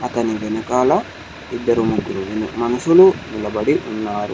అతని వెనకాల ఇద్దరు ముగ్గురు మనుషులు నిలబడి ఉన్నారు.